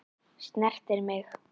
Snertir mig.